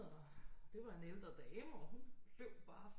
Og det var en ældre dame og hun løb bare